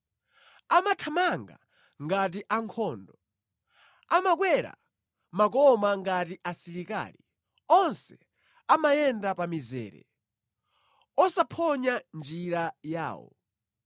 Amathamanga ngati ankhondo; amakwera makoma ngati asilikali. Onse amayenda pa mizere, osaphonya njira yawo.